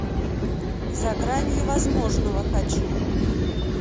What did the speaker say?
за гранью возможного хочу